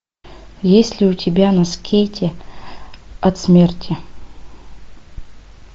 есть ли у тебя на скейте от смерти